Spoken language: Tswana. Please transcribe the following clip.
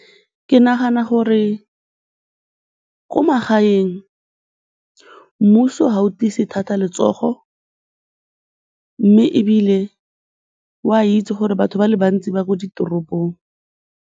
Ke nagana gore ko magaeng mmuso ga o tiise thata letsogo mme ebile o a itse gore batho ba le bantsi ba ko ditoropong.